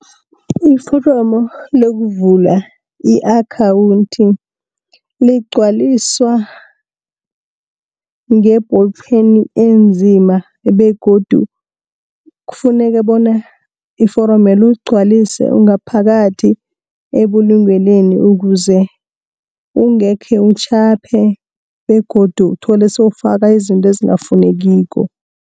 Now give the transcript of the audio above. Iforomo lokuvula i-akhawunthi ligcwaliswa nge-ballpen enzima, begodu kufuneka bona iforomelo uligcwalise ungaphakathi ebulungelweni ukuze, ungekhe utjhaphe begodu uthole sewufaka izinto ezingafunekiko.